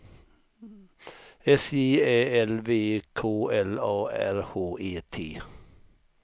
S J Ä L V K L A R H E T